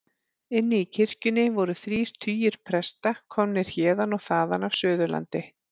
Inni í kirkjunni voru þrír tugir presta, komnir héðan og þaðan af Suðurlandi.